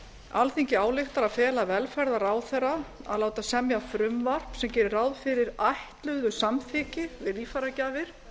alþingi ályktar að fela velferðarráðherra að láta semja frumvarp sem geri ráð fyrir ætluðu samþykki við líffæragjafir